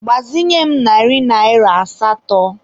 Gbazinye m narị naịra asatọ.